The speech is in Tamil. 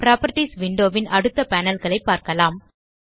புராப்பர்ட்டீஸ் விண்டோ ன் அடுத்த பேனல் களை பார்க்கலாம்